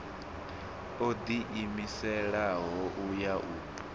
o ḓiimiselaho u ya u